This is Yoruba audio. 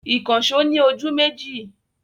Ìkànṣọ́ ni ojú méjì.